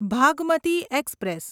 Bhagmati express